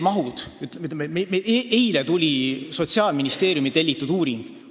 Mis puutub mahtudesse, siis eile tulid Sotsiaalministeeriumi tellitud uuringu näitajad.